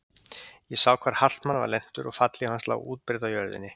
Ég sá hvar Hartmann var lentur og fallhlíf hans lá útbreidd á jörðunni.